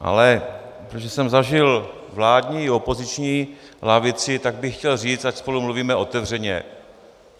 Ale protože jsem zažil vládní i opoziční lavici, tak bych chtěl říct, ať spolu mluvíme otevřeně.